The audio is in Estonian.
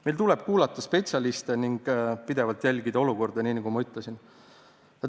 Meil tuleb kuulata spetsialiste ning olukorda pidevalt jälgida, nagu ma ütlesin.